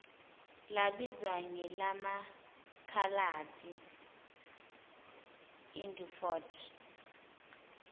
labizwa ngelamakhaladi idunford